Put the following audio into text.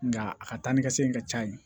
Nga a ka taa ni ka segin ka ca yen